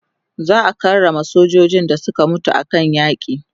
za'a karrama sojojin da Suka mutu a kan aiki